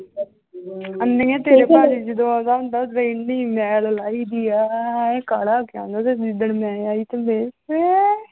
ਅੰਨੀਏ ਤੇਰੇ ਭਾਜੀ ਜਦੋਂ ਆਉਂਦਾ ਹੁੰਦਾ ਉਹਦੇ ਇੰਨੀ ਮੈਲ ਲਾਈਦੀ ਆ, ਇਉਂ ਕਾਲਾ ਪਿਆ ਹੁੰਦਾ, ਤੇ ਜਿੱਦਣ ਮੈਂ ਆਈ ਤੇ ਮੇਰੀ ਹੈਂ